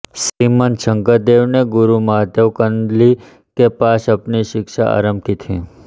श्रीमंत शंकरदेव ने गुरु माधव कंदलि के पास अपनी शिक्षा आरम्भ की थी